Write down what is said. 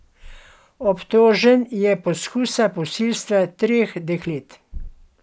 Obtožen je poskusa posilstva treh deklet.